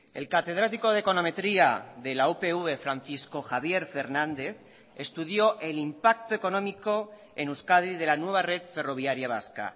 el catedrático de econometría de la upv francisco javier fernández estudió el impacto económico en euskadi de la nueva red ferroviaria vasca